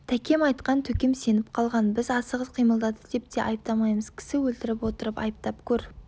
тәкем айтқан төкем сеніп қалған біз асығыс қимылдады деп те айыптамаймыз кісі өлтіріп отырып айыптап көр